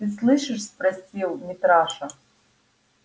ты слышишь спросил митраша